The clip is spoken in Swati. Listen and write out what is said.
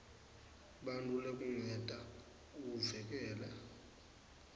bantfu lekungenta uvikele